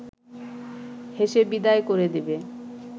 হেসে বিদায় করে দেবে